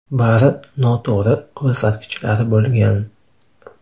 Bari noto‘g‘ri ko‘rsatkichlar bo‘lgan.